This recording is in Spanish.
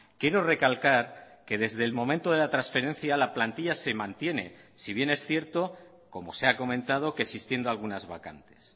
quiero recalcar que desde el momento de la transferencia la plantilla se mantiene si bien es cierto como se ha comentado que existiendo algunas vacantes